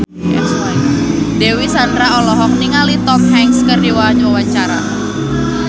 Dewi Sandra olohok ningali Tom Hanks keur diwawancara